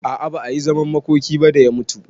A'a ba ayi zaman makoki ba da ya mutu